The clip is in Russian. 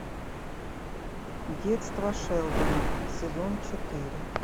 детство шелдона сезон четыре